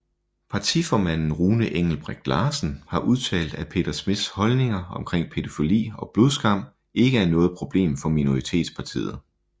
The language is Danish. Partiformanden Rune Engelbreth Larsen har udtalt at Peter Schmidts holdninger omkring pædofili og blodskam ikke er noget problem for Minoritetspartiet